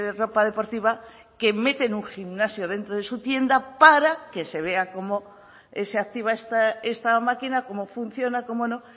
ropa deportiva que meten un gimnasio dentro de su tienda para que se vea cómo se activa esta máquina cómo funciona cómo no